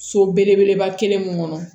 So belebeleba kelen mun kɔnɔ